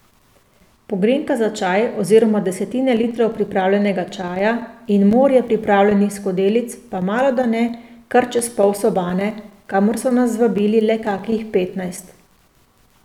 Pogrinjka za čaj oziroma desetine litrov pripravljenega čaja in morje pripravljenih skodelic pa malodane kar čez pol sobane, kamor so nas zvabili le kakih petnajst.